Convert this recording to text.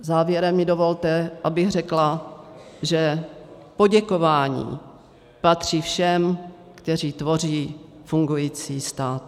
Závěrem mi dovolte, abych řekla, že poděkování patří všem, kteří tvoří fungující stát.